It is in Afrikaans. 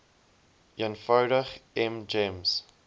eenvoudig m gems